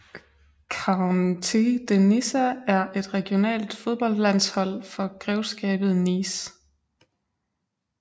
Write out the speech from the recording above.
Countea de Nissa er et regionalt fodboldlandshold for Grevskabet Nice